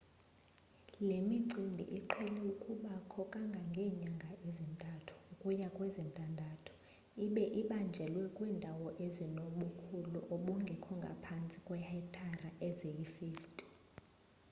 le micimbi iqhele ukubakho kangangeenyanga ezintathu ukuya kwezintandathu ibe ibanjelwa kwiindawo ezinobukhulu obungekho ngaphantsi kweehektare eziyi-50